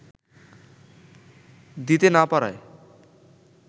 দিতে না পারায়